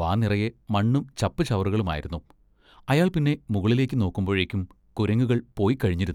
വാ നിറയെ മണ്ണും ചപ്പുചവറുകളുമായിരുന്നു. അയാൾ പിന്നെ മുകളിലേക്ക് നോക്കുമ്പോഴേക്കും കുരങ്ങുകൾ പോയ്ക്കഴിഞ്ഞിരുന്നു.